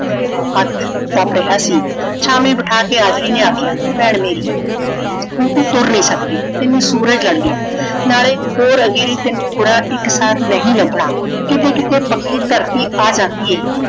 ਹੱਥ ਤਪ ਰਿਹਾ ਸੀ। ਛਾਵੇਂ ਬਿਠਾ ਕੇ ਆਜੜੀ ਨੇ ਆਖਿਆ ਭੈਣ ਮੇਰੀਏ ਹੁਣ ਤੂੰ ਤੁਰ ਨਹੀਂ ਸਕਦੀ। ਤੈਨੂੰ ਸੂਰਜ ਲੜ ਗਿਆ ਹੈ ਨਾਲੇ ਹੋਰ ਅਜਿਹੀ ਤੈਨੂੰ ਖੁਰਾ ਇੱਕ ਸਾਥ ਨਹੀਂ ਲੱਭਣਾ। ਕਿੱਤੇ ਕਿੱਤੇ ਪੱਕੀ ਧਰਤੀ ਆ ਜਾਂਦੀ ਹੈ।